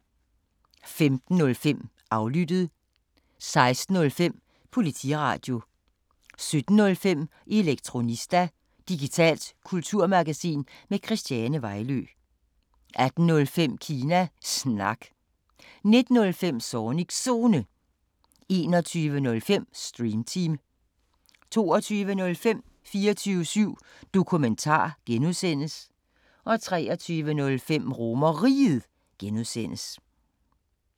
15:05: Aflyttet 16:05: Politiradio 17:05: Elektronista – digitalt kulturmagasin med Christiane Vejlø 18:05: Kina Snak 19:05: Zornigs Zone 21:05: Stream Team 22:05: 24syv Dokumentar (G) 23:05: RomerRiget (G)